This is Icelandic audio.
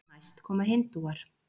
næst koma hindúar